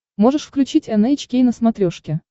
можешь включить эн эйч кей на смотрешке